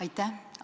Aitäh!